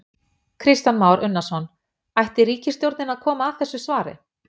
Kristján Már Unnarsson: Ætti ríkisstjórnin að koma að þessu svari?